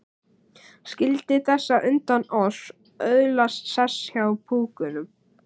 Skyldi þessi á undan oss öðlast sess hjá púkunum?